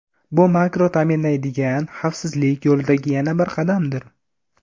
Bu Makro ta’minlaydigan, xavfsizlik yo‘lidagi yana bir qadamdir.